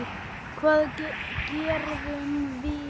Hvað gerðum við?